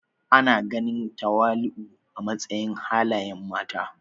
Ana ganin tawali'u a matsayin halayen mata.